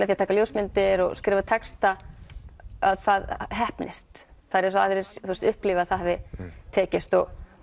því að taka ljósmyndir og skrifa texta að það heppnist það er eins og aðrir upplifi að það hafi tekist